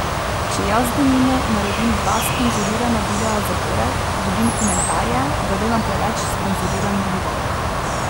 Če jaz denimo naredim dva sponzorirana videa zapored, dobim komentarje, da delam preveč sponzoriranih videov.